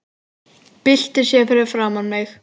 Byltir sér fyrir framan mig.